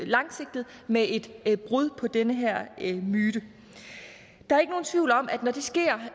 langsigtet med et brud med den her myte der